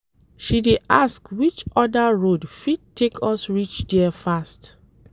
She dey ask which other road fit take us reach there fast.